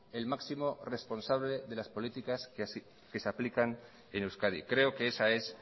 el máximo responsable de las políticas que se aplican en euskadi creo que esa es